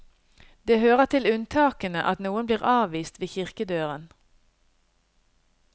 Det hører til unntakene at noen blir avvist ved kirkedøren.